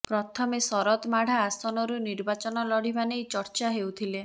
ପ୍ରଥମେ ଶରଦ ମାଢ଼ା ଆସନରୁ ନିର୍ବାଚନ ଲଢ଼ିବା ନେଇ ଚର୍ଚ୍ଚା ହେଉଥିଲେ